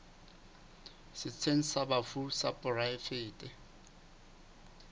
setsheng sa bafu sa poraefete